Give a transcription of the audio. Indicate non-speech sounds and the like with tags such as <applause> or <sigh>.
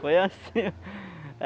Foi assim. <laughs>